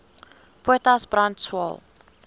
potas brand swael